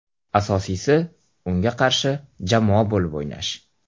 Asosiysi unga qarshi jamoa bo‘lib o‘ynash.